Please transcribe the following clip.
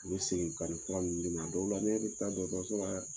U be segin ka nin fura ninnu d'e ma o de la ne bɛ taa dɔgɔtɔrɔso dɛ!